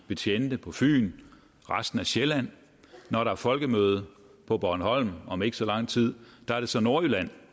betjente på fyn og resten af sjælland når der er folkemøde på bornholm om ikke så lang tid er det så nordjylland